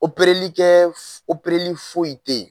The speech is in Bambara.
Opereli kɛ opereli foyi te yen